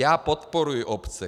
Já podporuji obce.